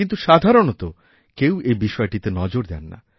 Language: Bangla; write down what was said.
কিন্তু সাধারণত কেউ এইবিষয়টিতে নজর দেন না